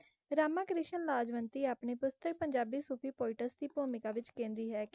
ਰਾਮਾ ਕ੍ਰਿਸ਼ਨ ਲਾਜਵੰਤੀ ਆਪਣੀ ਪੁਸਤਕ Punjabi Sufi poets ਦੀ ਭੂਮਿਕਾ ਵਿੱਚ ਕਹਿੰਦੀ ਹੈ ਕਿ